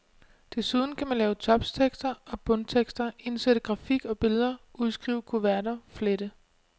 Desuden kan man lave toptekster og bundtekster, indsætte grafik og billeder, udskrive kuverter, flette.